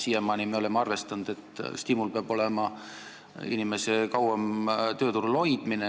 Siiamaani me oleme arvestanud, et tuleb stimuleerida inimeste kauem tööturul püsimist.